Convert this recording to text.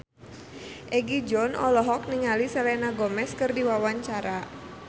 Egi John olohok ningali Selena Gomez keur diwawancara